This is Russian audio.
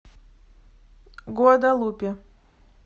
гуадалупе